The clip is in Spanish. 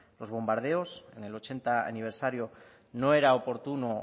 los bombardeos en el ochenta aniversario no era oportuno o